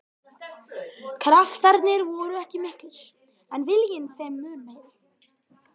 Kraftarnir voru ekki miklir en viljinn þeim mun meiri.